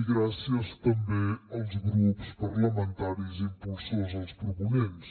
i gràcies també als grups parlamentaris impulsors als proponents